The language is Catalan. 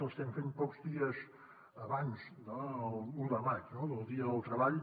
l’estem fent pocs dies abans de l’un de maig del dia del treball